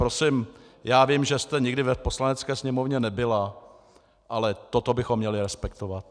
Prosím, já vím, že jste nikdy v Poslanecké sněmovně nebyla, ale toto bychom měli respektovat.